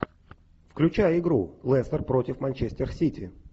включай игру лестер против манчестер сити